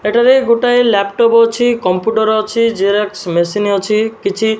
ଏଠାରେ ଗୋଟାଏ ଲ୍ୟପଟପ ଅଛି କମ୍ପୁଟର ଅଛି ଜେରକ୍ସ ମେସିନ ଅଛି କିଛି --